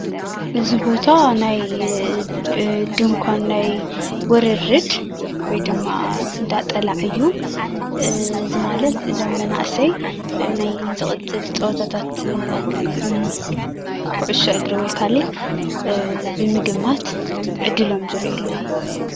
እዚ ቦታ ናይ ድንኳን ናይ ዉርርድ ወይ ድማ እንዳጠላዕ እዩ እዚ ማለት እዞም መናእሰይ ናይ ዝቅፅል ፀወታታት ኩዕሶ እግሪ ወይ ካልእ ብምግማት ዕድሎም ዝሪኢሉ እዩ።